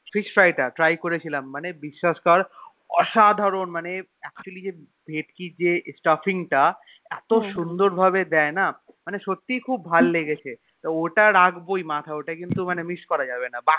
Fish Fry টা try করেছিলাম মানে বিশ্বাস কর অসাধারণ খেতে মানে Actually যে ভেটকীর Stuffing টা এত সুন্দর ভাবে দেয়না মনে সত্যি এ খুব ভালো লেগেছে তো ওটা রাখবই মাথায় ওটা কে miss করা যাবেনা